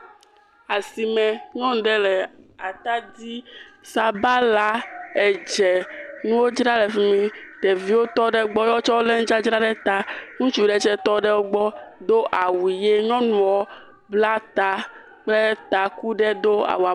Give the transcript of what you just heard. Asime, nyɔnu ɖe le atadi, sabala, edze, nuwo dzram le fi mi, ɖeviwo tɔ ɖe egbɔ wotsɛ wolé nudzadzra ɖe ta. Ŋutsu ɖe tsɛ tɔ ɖe wo gbɔ, do awu ʋi, nyɔnua bla ta kple taku ɖe do …